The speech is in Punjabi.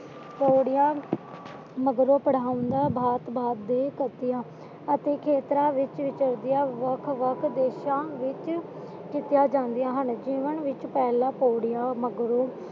ਤੋੜਿਆ ਅਤੇ ਖੇਤਰਾਂ ਵਿੱਚ ਵਿਚਰਦਿਆ ਵੱਖ ਵੱਖ ਦੇਸ਼ਾ ਵਿੱਚ ਕੀਤੀਆਂ ਜਾਂਦੀਆਂ ਹਨ ਜੀਵਨ ਵਿੱਚ ਪਹਿਲਾ ਤੋੜੀਆਂ